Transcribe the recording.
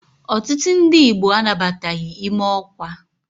Ọtụtụ ndi Igbo anabataghi ime ọkwa.